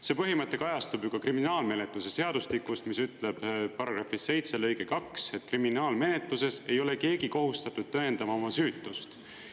See põhimõte kajastub ju ka kriminaalmenetluse seadustikust, mis ütleb § 7 lõige 2, et kriminaalmenetluses ei ole keegi kohustatud tõendama oma süütust.